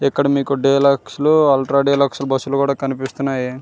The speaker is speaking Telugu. ఇక్కడ మీకు డీలక్స్ అల్ట్రా డీలక్స్ బస్సు లు కూడా కనిపిస్తునాయి.